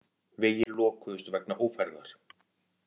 Vegir lokuðust vegna ófærðar